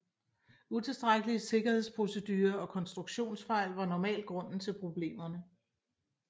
Utilstrækkelige sikkerhedsprocedurer og konstruktionsfejl var normalt grunden til problemerne